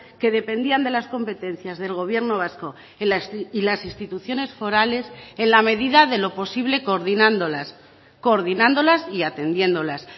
que dependían de las competencias del gobierno vasco y las instituciones forales en la medida de lo posible coordinándolas coordinándolas y atendiéndolas